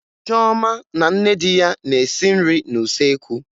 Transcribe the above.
Choma na nne di ya na-esi nri n'usekwu